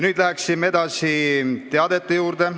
Nüüd läheme teadete juurde.